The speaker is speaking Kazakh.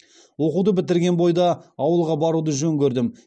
оқуды бітірген бойда ауылға баруды жөн көрдім